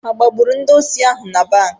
Agbagburu ndị osi ahụ na banki?